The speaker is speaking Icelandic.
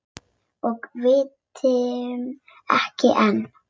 Og vitum ekki enn.